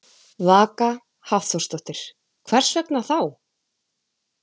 Vaka Hafþórsdóttir: Hvers vegna þá?